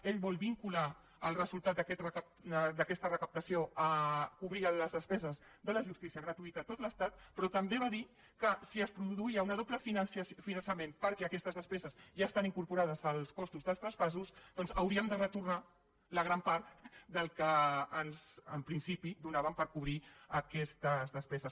ell vol vincular el resultat d’aquesta recaptació a cobrir les despeses de la justícia gratuïta a tot l’estat però també va dir que si es produïa un doble finançament perquè aquestes despeses ja estan incorporades als costos dels traspassos doncs hauríem de retornar la gran part del que en principi donaven per cobrir aquestes despeses